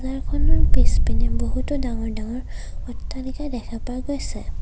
খনৰ পিছপিনে বহুতো ডাঙৰ ডাঙৰ অট্টালিকা দেখা পোৱা গৈছে।